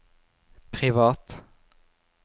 privat